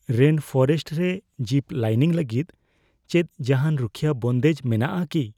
Rainforest ᱨᱮ ziplining ᱞᱟᱹᱜᱤᱫ ᱪᱮᱫ ᱡᱟᱸᱦᱟᱱ ᱨᱩᱠᱷᱤᱭᱟᱹ ᱵᱚᱱᱫᱮᱡ ᱢᱮᱱᱟᱜᱼᱟ ᱠᱤ ?